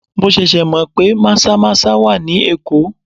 Mo ṣẹ̀ṣẹ̀ mọ pé maza-maza wà ní Èkó.